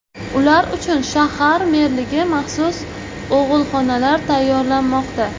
Ular uchun shahar merligi maxsus og‘ilxonalar tayyorlamoqda.